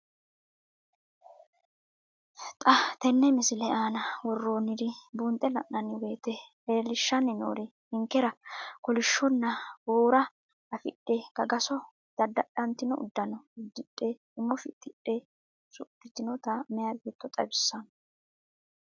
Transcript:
Xa tenne missile aana worroonniri buunxe la'nanni woyiite leellishshanni noori ninkera kolishshonna boora afidhe gagaso daddadhantino uddano uddidhe umo fixxidhe usudhitinota meya beetto xawissanno.